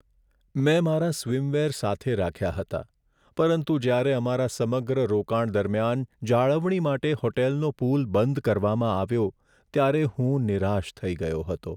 મેં મારા સ્વિમવેર સાથે રાખ્યા હતા પરંતુ જ્યારે અમારા સમગ્ર રોકાણ દરમિયાન જાળવણી માટે હોટલનો પૂલ બંધ કરવામાં આવ્યો, ત્યારે હું નિરાશ થઈ ગયો હતો.